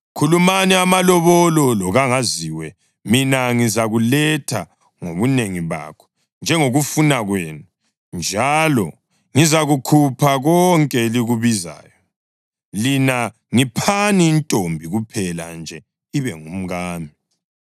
Khulumani amalobolo lokangaziwe, mina ngizakuletha ngobunengi bakho njengokufuna kwenu, njalo ngizakukhupha konke elikubizayo. Lina ngiphani intombi kuphela nje ibe ngumkami.”